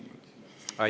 Aitäh!